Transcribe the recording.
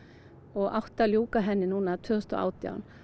og átti að ljúka núna tvö þúsund og átján